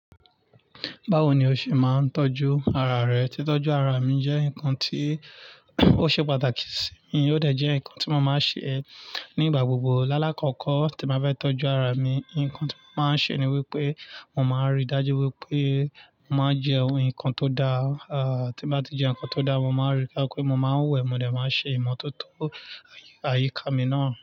Báwo ni o ṣe máa ń tọ́jú ara rẹ? Titọjú ara mi jẹ́ nǹkan tí ó ṣe pàtàkì sí mi o dẹ̀ jẹ́ nǹkan tí mo máa ń ṣe nígbà gbogbo. Lálákọkọ́, tí màá bá fẹ́ tọ́jú ara mi, nǹkan tí mo máa ń ṣe ni wípé mo máa ríi dájú wípé mo máa ń jẹ ohun, ǹkan tó da. À tí bá ti jẹ́ ǹkan tó da, mo máa rí ká pé mo máa ń wẹ̀, mo dẹ̀ máa ṣe ìmọ́tótó àyíká mi náà.